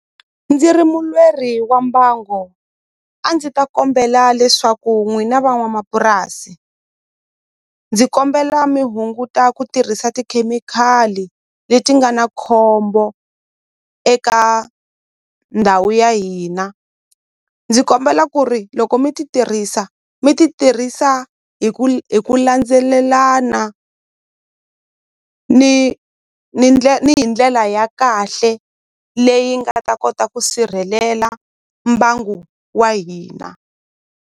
Ndzi ri mulweri wa mbango a ndzi ta kombela leswaku n'wina van'wamapurasi ndzi kombela mi hunguta ku tirhisa tikhemikhali leti nga na khombo eka ndhawu ya hina ndzi kombela ku ri loko mi ti tirhisa mi ti tirhisa hi ku hi ku landzelelana ni ni ni hi ndlela ya kahle leyi nga ta kota ku sirhelela mbangu wa hina.